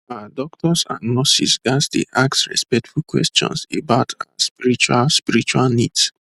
ah doctors and nurses ghats dey ask respectful questions about ah spiritual spiritual needs